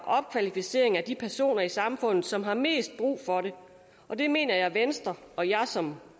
opkvalificering af de personer i samfundet som har mest brug for det det mener jeg venstre og jeg som